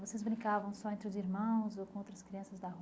Vocês brincavam só entre os irmãos ou com outras crianças da